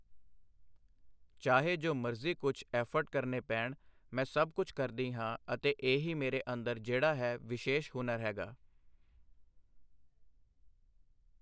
ਚਾਹੇ ਜੋ ਮਰਜ਼ੀ ਕੁਛ ਐਫਰਟ ਕਰਨੇ ਪੈਣ ਮੈਂ ਸਭ ਕੁਛ ਕਰਦੀ ਹਾਂ ਅਤੇ ਇਹ ਹੀ ਮੇਰੇ ਅੰਦਰ ਜਿਹੜਾ ਹੈ ਵਿਸ਼ੇਸ਼ ਹੁਨਰ ਹੈਗਾ।